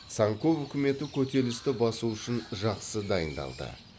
цанков үкіметі көтерілісті басу үшін жақсы дайындалды